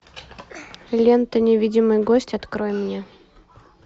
лента невидимый гость открой мне